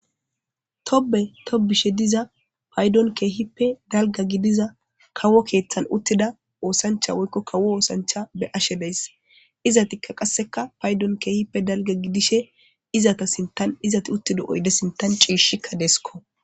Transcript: Tobbe tobbishe diza paydon keehippe dalga gidiza kawo keethan uttida oosancha woykko kawo oosancha be7ashe days. Izatikka qasseka paydon keehippe dalga gidishe izata sintan izati uttido oyde sintan ciishshikka deeskko.